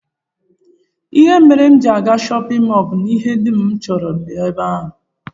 Ihe mere m ji aga shọpịn mọl bụ na ihe dum m chọrọ nọ ebe ahụ